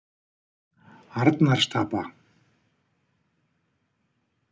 Arnarstapa